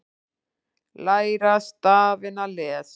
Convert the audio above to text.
Læra stafina- lesa